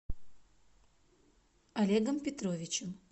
олегом петровичем